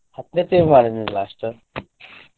ಹತ್ತನೇ last .